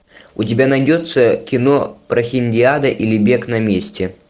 у тебя найдется кино прохиндиада или бег на месте